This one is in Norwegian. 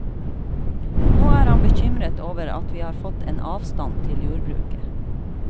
Nå er han bekymret over at vi har fått en avstand til jordbruket.